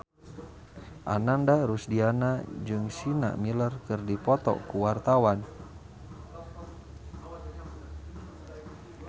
Ananda Rusdiana jeung Sienna Miller keur dipoto ku wartawan